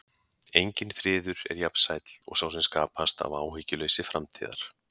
Enginn friður er jafn sæll og sá sem skapast af áhyggjuleysi framtíðar.